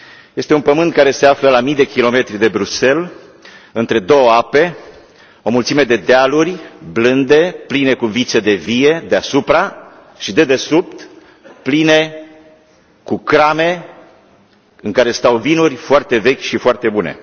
Este un pământ care se află la mii de kilometri de Bruxelles, între două ape, o mulțime de dealuri blânde, pline cu viță de vie deasupra, și dedesubt pline cu crame în care stau vinuri foarte vechi și foarte bune.